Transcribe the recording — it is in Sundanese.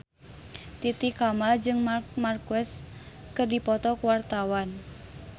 Titi Kamal jeung Marc Marquez keur dipoto ku wartawan